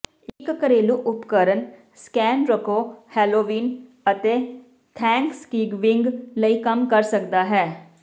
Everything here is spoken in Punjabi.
ਇੱਕ ਘਰੇਲੂ ਉਪਕਰਣ ਸਕੈਨਰਕੋ ਹੈਲੋਵੀਨ ਅਤੇ ਥੈਂਕਸਗਿਵਿੰਗ ਲਈ ਕੰਮ ਕਰ ਸਕਦਾ ਹੈ